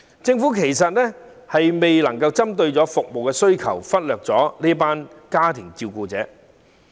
政府其實未能針對服務需求採取適切措施，亦忽略了這群照顧者。